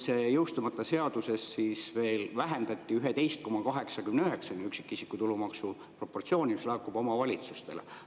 Selles jõustumata seaduses siis veel vähendati 11,89%-ni üksikisiku tulumaksu, mis laekub omavalitsustele, seda proportsiooni.